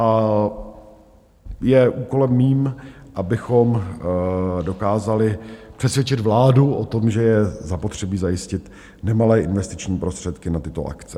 A je úkolem mým, abychom dokázali přesvědčit vládu o tom, že je zapotřebí zajistit nemalé investiční prostředky na tyto akce.